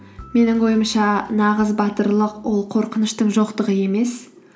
менің ойымша нағыз батырлық ол қорқыныштың жоқтығы емес